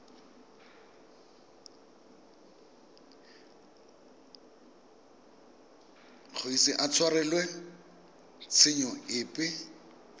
ise a tshwarelwe tshenyo epe